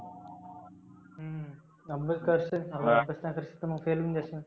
अभ्यास कसं तर अभ्यास करशील fail होऊन जाशील.